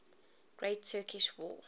great turkish war